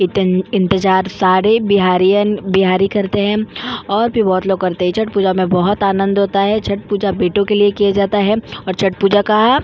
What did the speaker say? इतना इंतिजार सारे बिहारीयन बिहारी करते है और भी बहुत लोग करते है छठ पूजा में बहुत ही आनंद आता है छठ पूजा बेटो के लिए किया जाता है और छठ पूजा का--